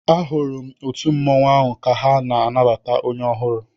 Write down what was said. E hụrụ ndị òtù mmanwu áhù ka ha na-anabata onye ọhụrụ